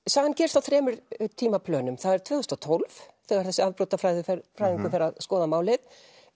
sagan gerist á þremur tvö þúsund og tólf þegar þessi afbrotafræðingur fer að skoða málið